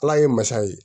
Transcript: Ala ye masa ye